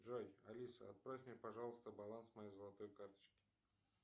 джой алиса отправь мне пожалуйста баланс моей золотой карточки